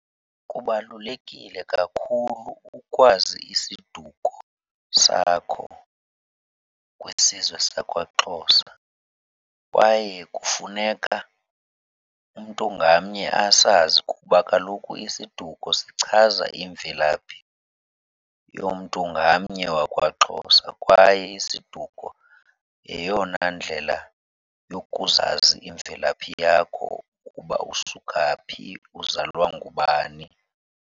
Kubalulekile kakhulu ukwazi isiduko sakho kwisizwe sakwaXhosa kwaye kufuneka umntu ngamnye asazi kuba kaloku isiduko sichaza imvelaphi yomntu ngamnye wakwaXhosa. Kwaye isiduko yeyona ndlela yokuzazi imvelaphi yakho ukuba usuka phi, uzalwa ngubani.